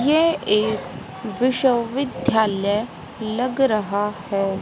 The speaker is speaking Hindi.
ये एक विश्वविद्यालय लग रहा है।